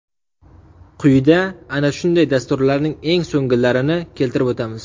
Quyida ana shunday dasturlarning eng so‘nggilarini keltirib o‘tamiz.